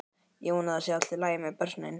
Ég vona að það sé allt í lagi með börnin.